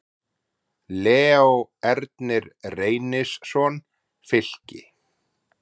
Leó Ernir Reynisson, Fylki